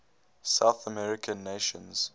south american nations